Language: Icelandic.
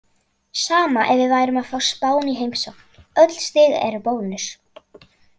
Sama ef við værum að fá Spán í heimsókn, öll stig eru bónus.